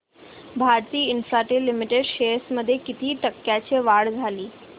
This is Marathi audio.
भारती इन्फ्राटेल लिमिटेड शेअर्स मध्ये किती टक्क्यांची वाढ झाली